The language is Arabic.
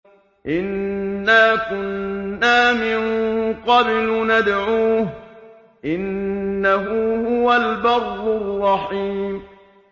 إِنَّا كُنَّا مِن قَبْلُ نَدْعُوهُ ۖ إِنَّهُ هُوَ الْبَرُّ الرَّحِيمُ